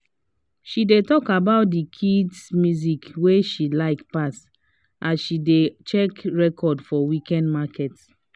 she dey talk about the kid musics wey she like pass as she dey check record for weekend market